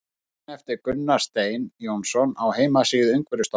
Grein eftir Gunnar Stein Jónsson á heimasíðu Umhverfisstofnunar.